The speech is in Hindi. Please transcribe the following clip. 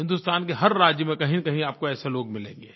हिंदुस्तान के हर राज्य में कहींनकहीं आपको ऐसे लोग मिलेंगे